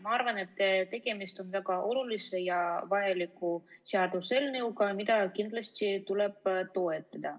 Ma arvan, et tegemist on väga olulise ja vajaliku seaduseelnõuga, mida kindlasti tuleb toetada.